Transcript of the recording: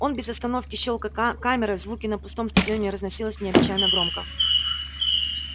он без остановки щёлкал камерой звуки на пустом стадионе разносились необычно громко